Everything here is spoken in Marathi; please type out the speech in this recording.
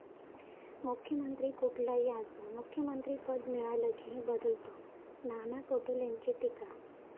मुख्यमंत्री कुठलाही असो, मुख्यमंत्रिपद मिळालं की बदलतो, नाना पटोलेंची टीका